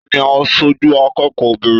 Taní aṣoju akẹ́kọ̀ọ́ obìnrin?